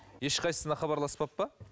ешқайсысына хабарласпапты ма